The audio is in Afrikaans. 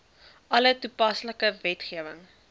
alle toepaslike wetgewing